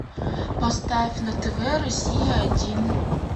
поставь на тв россия один